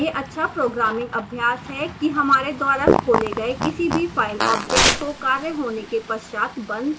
यह अच्छा प्रोग्रामिंग अभ्यास है कि हमारे द्वारा खोले गए किसी भी file objects को कार्य होने के पश्चात बंद कर दें